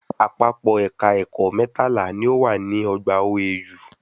Àpapọ̀ Ẹ̀ka ẹ̀kọ́ mẹ́tàlá ni o wà ní ọgbà OAU